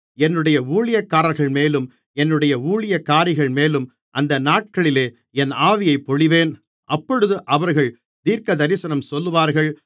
என்னுடைய ஊழியக்காரர்கள்மேலும் என்னுடைய ஊழியக்காரிகள்மேலும் அந்த நாட்களிலே என் ஆவியைப் பொழிவேன் அப்பொழுது அவர்கள் தீர்க்கதரிசனம் சொல்லுவார்கள்